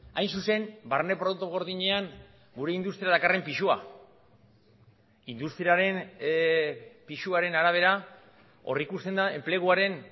hain zuzen barne produktu gordinean gure industria dakarren pisua industriaren pisuaren arabera hor ikusten da enpleguaren